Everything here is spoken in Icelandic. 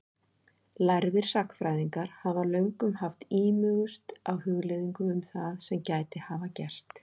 Lærðir sagnfræðingar hafa löngum haft ímugust á hugleiðingum um það sem gæti hafa gerst.